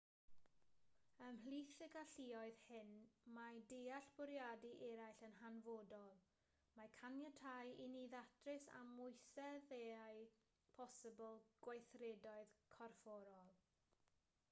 ymhlith y galluoedd hyn mae deall bwriadau eraill yn hanfodol mae'n caniatáu i ni ddatrys amwyseddau posibl gweithredoedd corfforol